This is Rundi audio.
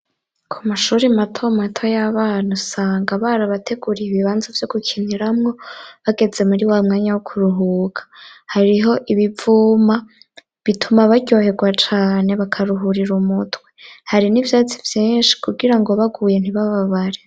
Ku mashuri mato mato y'abana usanga barabateguriye ibibanza vyo gukiniramwo. Bageze muri wa mwanya wo kuruhuka hariho ibivuma bituma baryohegwa cane bakaruhurira umutwe. Hari n'ivyatsi vyinshi kugira ngo baguye ntibababare.